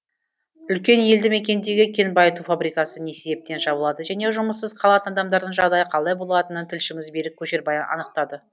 үлкен елді мекендегі кен байыту фабрикасы не себептен жабылады және жұмыссыз қалатын адамдардың жағдайы қалай болатынын тілшіміз берік көшербай анықтады